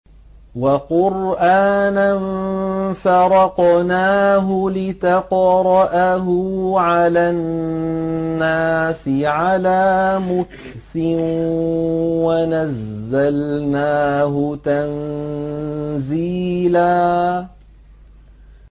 وَقُرْآنًا فَرَقْنَاهُ لِتَقْرَأَهُ عَلَى النَّاسِ عَلَىٰ مُكْثٍ وَنَزَّلْنَاهُ تَنزِيلًا